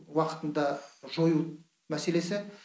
уақытында жою мәселесі